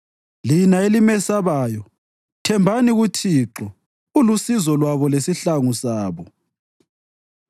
Lina elimesabayo, thembani kuThixo ulusizo lwabo lesihlangu sabo.